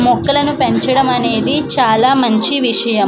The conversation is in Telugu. మొక్కలను పెంచడం అనేది చాలా మంచి విషయం.